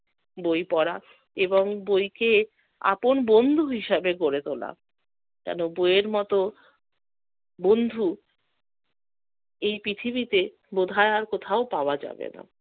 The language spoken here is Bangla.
বই পড়া এবং বইকে আপন বন্ধু হিসেবে গড়ে তোলা। কেন? বই এর মতো বন্ধু এই পৃথিবীতে বোধয় আর কোথাও পাওয়া যাবে না।